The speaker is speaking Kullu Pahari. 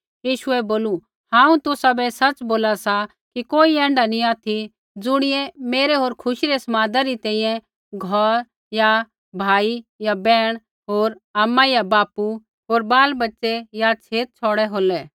यीशुऐ बोलू हांऊँ तुसाबै सच़ बोला सा कि कोई ऐण्ढा नी ऑथि ज़ुणियै मेरै होर खुशी रै समाद री तैंईंयैं घौर या भाई होर बैहण होर आमा या बापू होर बालबच्चे या छेत छ़ौड़ै होलै